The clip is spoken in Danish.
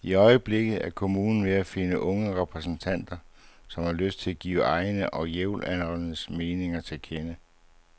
I øjeblikket er kommunen ved at finde unge repræsentanter, som har lyst til at give egne og jævnaldrendes mening til kende.